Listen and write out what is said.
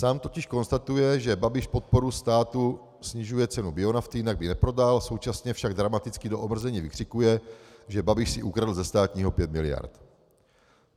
Sám totiž konstatuje, že Babiš podporou státu snižuje cenu bionafty, jinak by neprodal, současně však dramaticky do omrzení vykřikuje, že Babiš si ukradl ze státního 5 miliard.